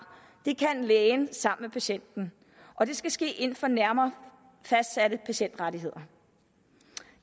det kan lægen sammen med patienten og det skal ske inden for nærmere fastsatte patientrettigheder